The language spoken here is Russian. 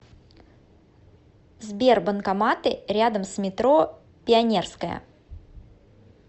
сбер банкоматы рядом с метро пионерская